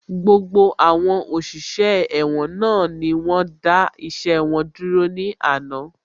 Gbogbo àwọn òṣìṣẹ́ ẹ̀wọ̀n náà ni wọ́n dá iṣẹ́ wọn dúró ní àná